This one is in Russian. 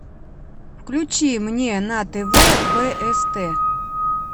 включи мне на тв бст